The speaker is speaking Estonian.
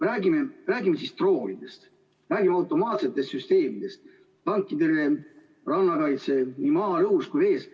Räägime siis droonidest, räägime automaatsetest süsteemidest, tankitõrjest, rannakaitsest nii maal, õhus kui vees.